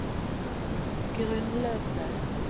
grunnløse